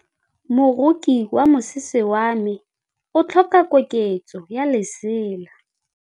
Moroki wa mosese wa me o tlhoka koketsô ya lesela.